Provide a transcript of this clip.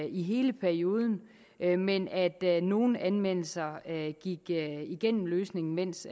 i hele perioden men men at nogle anmeldelser gik igennem løsningen mens